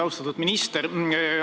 Austatud minister!